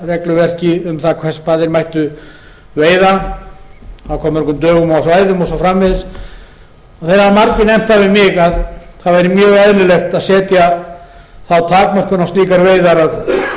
athafnaregluverki um það hvar þeir mættu veiða á hve mörgum dögum svæðum og svo framvegis það hafa margir nefnt það við mig að það væri mjög eðlilegt að setja þá takmörkun á slíkar veiðar að